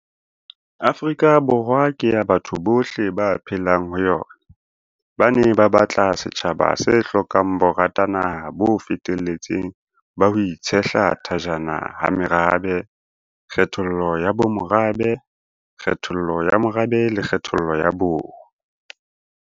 Borwa ke ya batho bohle ba phelang ho yona, ba ne ba batla setjhaba se hlokang boratanaha bo feteletseng ba ho itshehla thajana ha merabe, kgethollo ya bomorabe, kgethollo ya morabe le kgethollo ya bong.